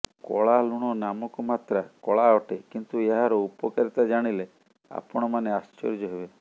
କଳା ଲୁଣ ନାମକୁ ମାତ୍ରା କଳା ଅଟେ କିନ୍ତୁ ଏହାର ଉପକାରିତା ଜାଣିଲେ ଆପଣ ମାନେ ଆଶ୍ଚର୍ଯ୍ୟ ହେବେ